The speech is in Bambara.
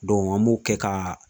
an m'o kɛ ka